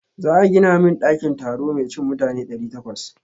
Za a gina min ɗakin taro mai cin mutane ɗari takwas.